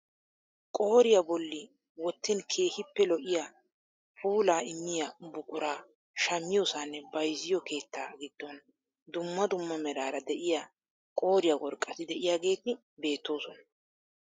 Qooriyaa bolli wottin keehippe lo"iyaa puulaa immiyaa buquraa shammiyoosanne bayzziyoo keettaa giddon dumma dumma meraara de'iyaa qooriyaa worqqati de'iyaageti beettoosona.